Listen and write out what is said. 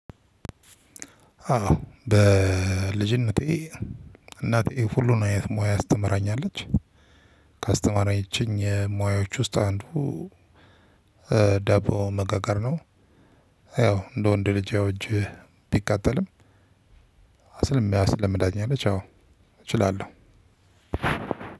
አዎ በልጅነቴ እናቴ ሁሉን አይነት ሙያ አስተምራኛለች። ካስተማራችኝ ሙያዎች ውስጥ አንዱ ደቦ መጋገር ነው። ያው እንደ ወንድ ልጅ ያው እጄ ቢቃጠልም። አስልም ያስልም ዳኛ አለ ቻው እችላለሁ።